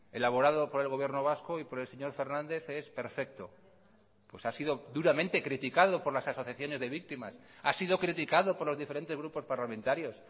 elaborado por el gobierno vasco y por el señor fernández es perfecto pues ha sido duramente criticado por las asociaciones de víctimas ha sido criticado por los diferentes grupos parlamentarios